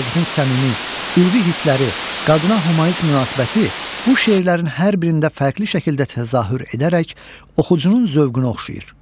Vaqifin səmimi, ülvi hissləri, qadına hümanist münasibəti bu şeirlərin hər birində fərqli şəkildə təzahür edərək oxucunun zövqünə oxşayır.